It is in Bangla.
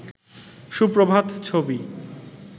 সুপ্রভাত ছবি